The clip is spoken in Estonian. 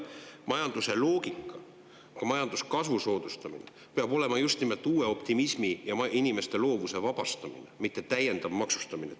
Majanduse loogika majanduskasvu soodustamiseks peab just nimelt uues optimismis ja inimeste loovuse vabastamises, mitte täiendavas maksustamises.